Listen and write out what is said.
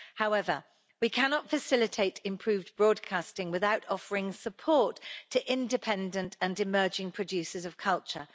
However, we cannot facilitate improved broadcasting without offering support to independent and emerging producers of culture.